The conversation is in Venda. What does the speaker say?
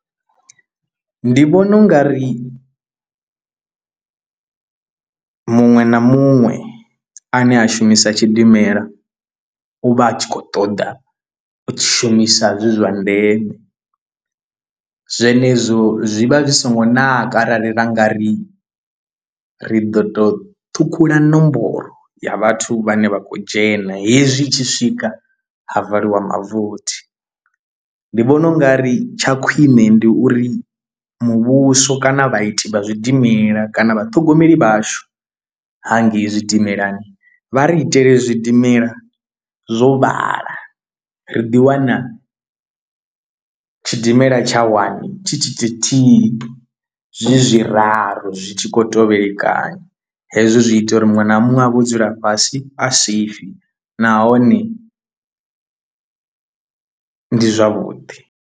Ndi vhona ungari muṅwe na muṅwe ane a shumisa tshidimela u vha a tshi khou ṱoḓa u shumisa zwi zwa ndeme zwenezwo zwi vha zwi so ngo naka arali ra nga ri ri do to ṱhukhula nomboro ya vhathu vhane vha khou dzhena hezwi i tshi swika ha valiwa mavothi. Ndi vhona u nga ri tsha khwine ndi uri muvhuso kana vha ite vha zwidimela kana vhaṱhogomeli vhashu hangei tshidimelani vha ri itele zwidimela zwo vhala ri ḓiwana tshidimela tsha wani tshi thi thi thihi zwi zwi raru zwi tshi khou tevhelekana, hezwo zwi ita uri muṅwe na muṅwe a vho dzula fhasi a safe nahone ndi zwavhuḓi.